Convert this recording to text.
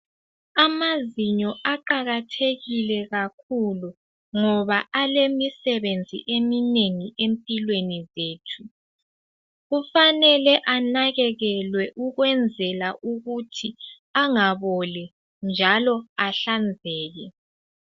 Amazinyo aqakathekile kakhulu ngoba alemisebenzi eminengi empilweni zethu kufanele anakakelwe ukwenzela ukuthi angaboli njalo ahlanzeke.